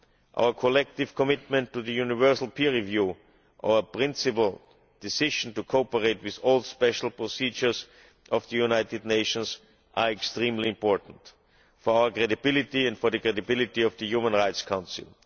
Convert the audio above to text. Our collective commitment to the universal peer review or principal decision to cooperate with all special procedures of the United Nations are extremely important for our credibility and for the credibility of the Human Rights Council.